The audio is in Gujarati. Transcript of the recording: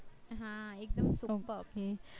હા એકદમ superb